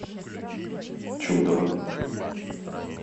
чудово